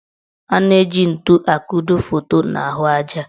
A na-eji ntu akudo foto n' ahụ aja.